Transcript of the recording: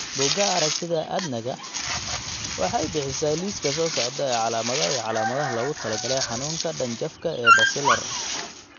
Bugaa aragtida aDdanaga waxay bixisaa liiska soo socda ee calaamadaha iyo calaamadaha loogu talagalay xanuunka dhanjafka ee Basilar.